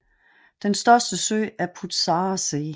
Den største sø er Putzarer See